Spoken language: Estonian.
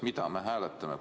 Mida me hääletame?